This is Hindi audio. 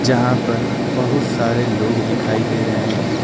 जहां पर बहुत सारे लोग दिखाई दे रहे हैं।